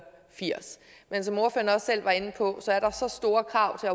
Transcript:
firs men som ordføreren også selv var inde på er der så store krav til